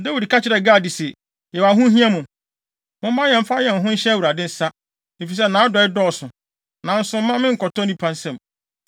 Dawid ka kyerɛɛ Gad se, “Yɛwɔ ahohiahia mu. Momma yɛmfa yɛn ho nhyɛ Awurade nsa, efisɛ nʼadɔe dɔɔso; nanso mma me nkɔtɔ nnipa nsam.”